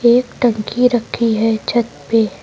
एक टंकी रखी है छत पे।